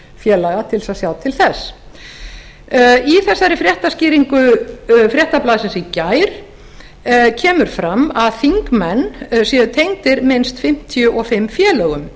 félaga til þess að sjá til þess í þessari fréttaskýringu fréttablaðsins í gær kemur fram að þingmenn séu tengdir minnst fimmtíu og fimm félögum